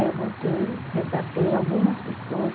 Aí eu voltei, resgatei algumas pessoas.